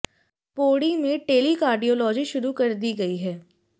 पौड़ी में tele cardiology शुरू कर दी गई है